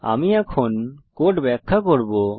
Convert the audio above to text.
আমি এখন কোড ব্যাখ্যা করব